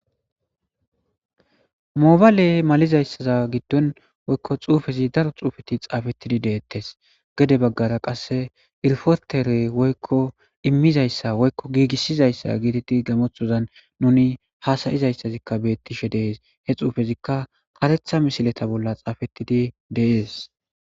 Moobaaley malizayssaza giddon woykko xuufezi daro xuufeti xaafettidi deettes gede baggara qasse irfotere woykko immizayssa woykko giigissizayssa giiditi gamothozan nuni haasayizayssazikka beettishe dees he xuufezikka haretha mishileta bolla xaafettidi dees.